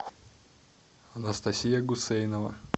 анастасия гусейнова